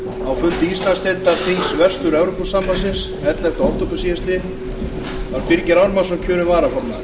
á fundi íslandsdeildar þings vestur evrópusambandsins ellefta október síðastliðinn var birgir ármannsson kjörinn varaformaður